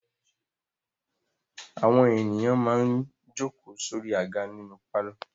Àwọn ènìyàn máa ń jókòó sórí àga nínú pálọ̀.